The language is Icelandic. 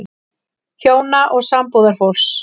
HJÓNA OG SAMBÚÐARFÓLKS